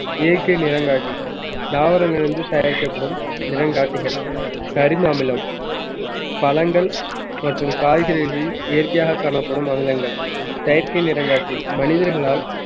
இயற்கை நிறங்காட்டி தாவரங்களில் இருந்து தயாரிக்கப்படும் நிறங்காட்டிகள் கரிம அமிலம் பழங்கள் மற்றும் காய்கறிகளில் இயற்கையாக காணப்படும் அமிலங்கள் செயற்கை நிறங்காட்டி மனிதர்களால்